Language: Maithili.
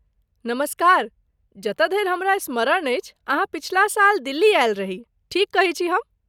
नमस्कार, जतय धरि हमरा स्मरण अछि अहाँ पछिला साल दिल्ली आयल रही, ठीक कहै छी हम?